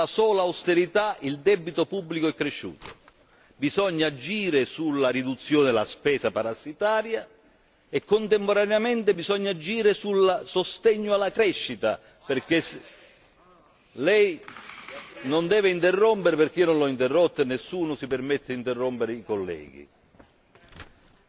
Bisogna agire sulla riduzione della spesa parassitaria e, contemporaneamente, bisogna agire sul sostegno alla crescita lei non deve interrompere perché io non l'ho interrotta e nessuno si permette di interrompere i colleghi Dunque, è una pura illusione